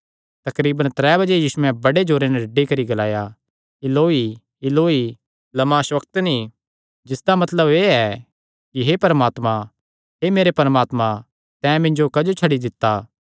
तकरीब त्रै बजे यीशुयैं बड़े जोरे नैं डड्डी करी ग्लाया इलोईइलोई लमा शबक्तनी जिसदा मतलब एह़ ऐ कि हे परमात्मा हे मेरे परमात्मा तैं मिन्जो क्जो छड्डी दित्ता